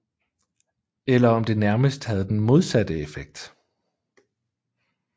Eller om det nærmest havde den modsatte effekt